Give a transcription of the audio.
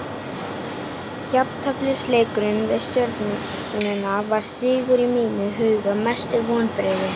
Jafnteflisleikurinn við stjörnuna var sigur í mínum huga Mestu vonbrigði?